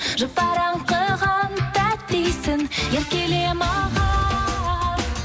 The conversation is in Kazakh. жұпар аңқыған тәтті иісің еркеле маған